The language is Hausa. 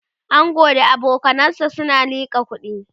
angon da abokanansa na liƙa kuɗi